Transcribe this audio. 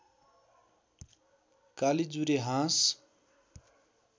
कालीजुरे हाँस